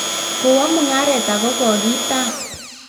kowo mung'aret ako kokitam